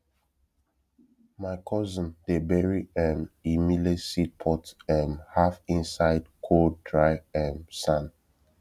my cousin dey bury um e millet seed pot um half inside cold dry um sand